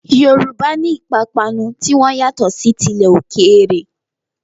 Yorùbá ní ìpapánu ti wọn yàtọ̀ sí tilẹ̀ òkèèrè.